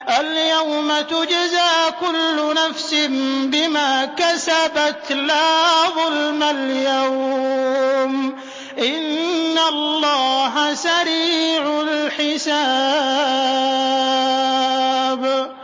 الْيَوْمَ تُجْزَىٰ كُلُّ نَفْسٍ بِمَا كَسَبَتْ ۚ لَا ظُلْمَ الْيَوْمَ ۚ إِنَّ اللَّهَ سَرِيعُ الْحِسَابِ